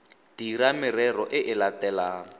dira merero e e latelang